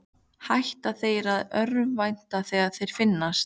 Hætta þeir að örvænta þegar þeir finnast?